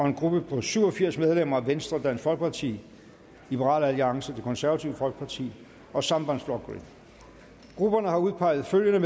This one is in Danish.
en gruppe på syv og firs medlemmer venstre dansk folkeparti liberal alliance det konservative folkeparti og sambandsflokkurin grupperne har udpeget følgende